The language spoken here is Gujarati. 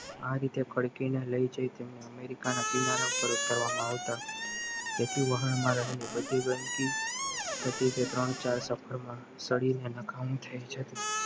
આરે જે કડકી ને લઈ જાય તેમને અમેરિકા ના કિનારા ઉપર ઉતારવામાં આવતા તેથી વાહનમાં રહેલી બધી ગંદકી હતી તે ત્રણ ચાર સફરમાં સોડીને નકામી થઈ જતી